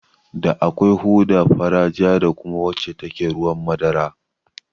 Da akwai hoda fara, ja, da kuma wacce take ruwan madara